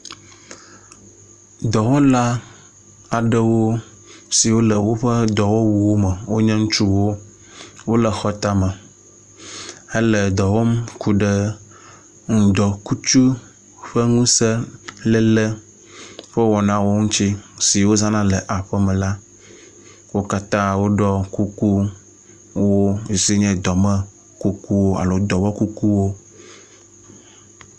Dɔwɔna aɖewo siwo le woƒe dɔwɔwuwo me wonye ŋutsuwo. Wo le xɔ tame hele dɔ wɔm ku ɖe ŋdɔkutsu ƒe ŋuse léle ƒe wɔnawo ŋutsi si wozana le aƒeme la. Wo katã woɖɔ kukuwo si nye dɔme kukuwo alo dɔwɔ kukuwo.